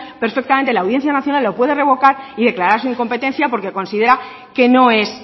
perfectamente la audiencia nacional lo puede revocar y declarar su incompetencia porque considera que no es